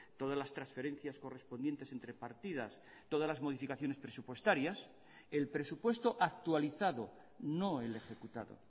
todas las transferencias correspondientes entre partidas todas las modificaciones presupuestarias el presupuesto actualizado no el ejecutado